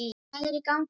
Hvað er í gangi þarna?